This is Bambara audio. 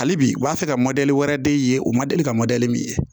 Hali bi u b'a fɛ ka wɛrɛ de ye u ma deli ka min ye